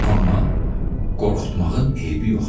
Amma qorxutmağın eybi yoxdur.